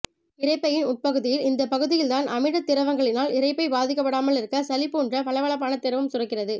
இரைப்பையின் உட்பகுதியில் இந்தப்பகுதியில் தான் அமிலத் திரவங்களினால் இரைப்பை பாதிக்கப்படாமலிருக்க சளி போன்ற வழவழப்பான திரவம் சுரக்கிறது